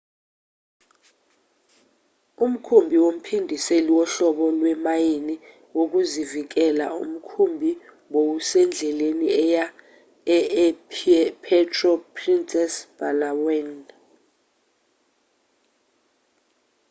umkhumbi womphindiseli wohlobo lwemayini wokuzivikela umkhumbi bowusendleleni eya e e-puerto princesa epalawan